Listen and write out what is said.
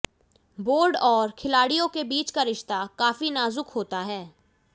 board और खिलाड़ियों के बीच का रिश्ता काफी नाजुक होता है